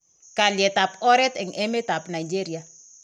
Kalyetab oreet eng emetab Nigeria.